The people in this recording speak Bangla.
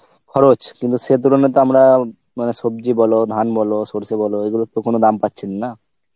খরচ কিন্তু সে তুলনায় তো আমরা মানে সবজি বল ধান বল সরসে বল এগুলোর তো কোনো দাম পাচ্ছি না, না